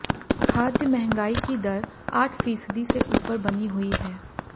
खाद्य महंगाई की दर आठ फीसदी से ऊपर बनी हुई है